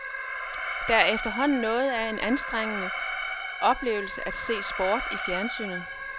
Der er efterhånden noget af en anstrengende oplevelse at se sport i fjernsynet.